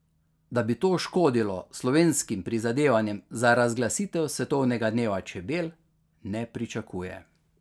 Da bi to škodilo slovenskim prizadevanjem za razglasitev svetovnega dneva čebel, ne pričakuje.